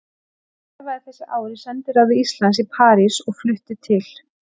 Ég starfaði þessi ár í sendiráði Íslands í París og flutti til